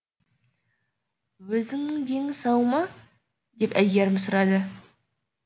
өзінің дені сау ма деп әйгерім сұрады